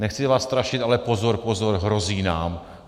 Nechci vás strašit, ale pozor, pozor, hrozí nám.